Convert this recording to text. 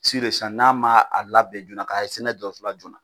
n'a ma a labɛn joona ka se n'a ye dɔgɔtɔrɔso la joona